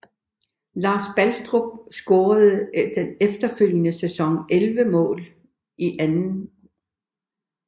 Lars Bastrup scorede den følgende sæson 11 mål i 2